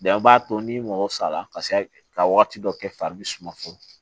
an b'a to ni mɔgɔ sara ka wagati dɔ kɛ fari bi suma funun